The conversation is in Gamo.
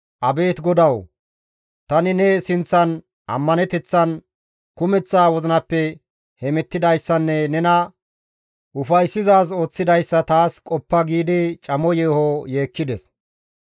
«Abeet GODAWU! Tani ne sinththan ammaneteththan, kumeththa wozinappe hemettidayssanne nena ufayssizaaz ooththidayssa taas qoppa» giidi camo yeeho yeekkides.